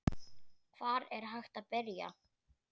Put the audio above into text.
Hvar er hægt að byrja?